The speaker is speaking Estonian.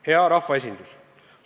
Hea rahvaesindus!